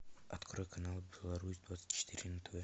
открой канал беларусь двадцать четыре на тв